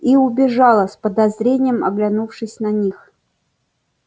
и убежала с подозрением оглянувшись на них